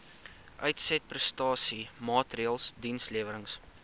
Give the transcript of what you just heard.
uitsetprestasie maatreëls dienslewerings